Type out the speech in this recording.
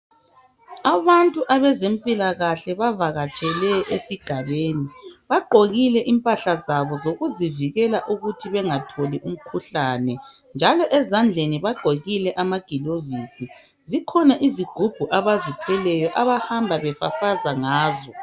Abantu abezempilakahle bavakatshele esigabeni, bagqokile impahla zabo zokuzivikela ukuthi bengatholi umkhuhlane njalo ezandleni bagqokile amagilovisi. Zikhona izigubhu abazithweleyo abahamba befafaza ngazo.